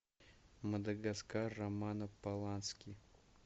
мадагаскар романа полански